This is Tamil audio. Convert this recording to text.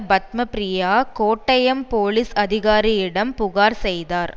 பத்மப்ரியா கோட்டயம் போலீஸ் அதிகாரியிடம் புகார் செய்தார்